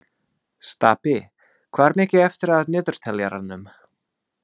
Stapi, hvað er mikið eftir af niðurteljaranum?